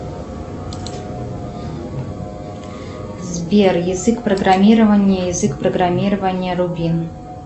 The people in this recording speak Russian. сбер язык программирования язык программирования рубин